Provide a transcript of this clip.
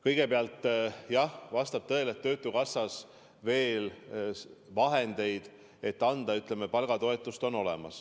Kõigepealt, jah, vastab tõele, et töötukassas on veel vahendeid, et anda palgatoetust.